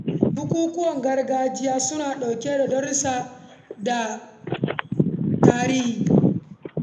Bukukuwan gargajiya suna ɗauke da darussa sosai na al’adu da tarihi.